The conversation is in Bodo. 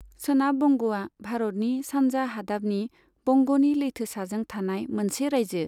सोनाब बंग'आ भारतनि सानजा हादाबनि बंग'नि लैथोसाजों थानाय मोनसे रायजो।